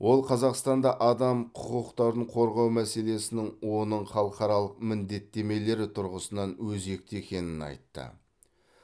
ол қазақстанда адам құқықтарын қорғау мәселесінің оның халықаралық міндеттемелері тұрғысынан өзекті екенін айтты